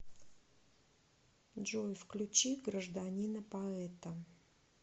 джой включи гражданина поэта